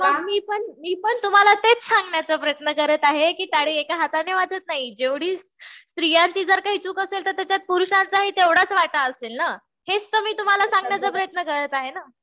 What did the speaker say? मी पण तुम्हाला तेच सांगण्याचा प्रयत्न करत आहे कि टाळी एका हाताने वाजत नाही. जेवढी स्त्रियांची जर काही चूक असेल तर त्याच्यात पुरुषांचाहि तेवढाच वाटा असेल ना. हेच तर मी तुम्हाला सांगण्याचा प्रयत्न करत आहे.